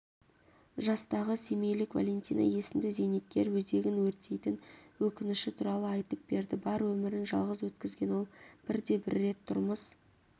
жастағы семейлік валентина есімді зейнеткер өзегін өртейтін өкініші туралы айтып берді бар өмірін жалғыз өткізген ол бір де бір рет тұрмыс